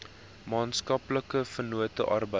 maatskaplike vennote arbeid